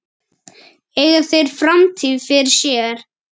Eiga þeir framtíð fyrir sér?